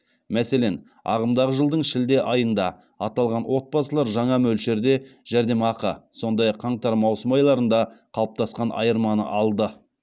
мәселен ағымдағы жылдың шілде айында аталған отбасылар жаңа мөлшерде жәрдемақы сондай ақ қаңтар маусым айларында қалыптасқан айырманы алды